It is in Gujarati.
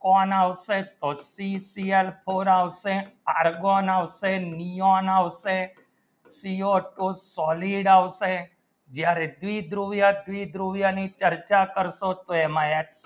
ઘણ આવશે પાટી ત્રિયા ઘણ આવશે carbon આવશે neon આવશે CO two chloride આવશે જ્યાં દી દ્રવ્ય દી દ્રવ્ય ની ચર્ચા કરશો તે માં આ